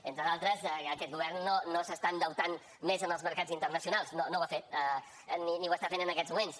entre d’altres aquest govern no s’està endeutant més en els mercats internacionals no ho ha fet ni ho està fent en aquests moments